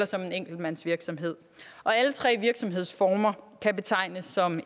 som en enkeltmandsvirksomhed og alle tre virksomhedsformer kan betegnes som